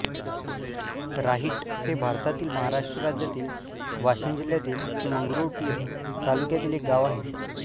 राहिट हे भारतातील महाराष्ट्र राज्यातील वाशिम जिल्ह्यातील मंगरुळपीर तालुक्यातील एक गाव आहे